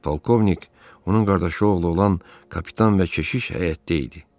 Polkovnik, onun qardaşı oğlu olan kapitan və keşiş həyətdə idi.